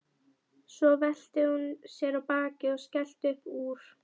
Svo velti hún sér á bakið og skellti upp úr.